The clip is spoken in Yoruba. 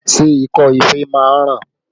Ṣé ikọ́ ife máa ń ràn?